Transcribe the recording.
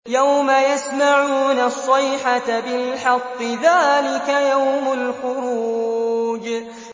يَوْمَ يَسْمَعُونَ الصَّيْحَةَ بِالْحَقِّ ۚ ذَٰلِكَ يَوْمُ الْخُرُوجِ